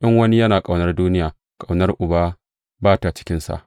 In wani yana ƙaunar duniya, ƙaunar Uba ba ta cikinsa.